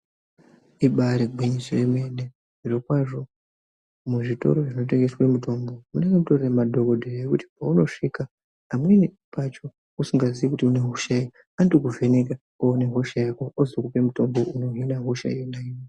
Ibare gwinyiso remene zvirokwazvo muzvitoro zvinotengeswe mitombo munenge mutorinemadhogodheya ekuti paunosvika amweni pacho usingazivi kuti unehosha ipi anotokuvheneka owone hosha yako ozokupe mutombo unohina hosha yanoyo.